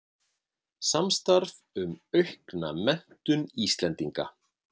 Samstarf um að auka menntun Íslendinga